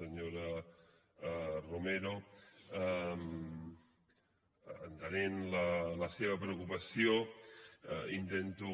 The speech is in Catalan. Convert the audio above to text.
senyora romero entenent la seva preocupació intento